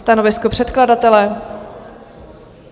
Stanovisko předkladatele?